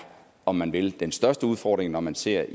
om man vil den største udfordring når man ser